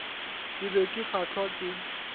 ke be ke kgahlwa ke